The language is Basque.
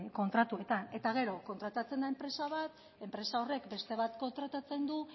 kontratuetan eta gero kontratatzen da enpresa bat enpresa horrek beste bat kontratatzen du